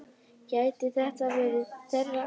Gæti þetta verið þeirra ár?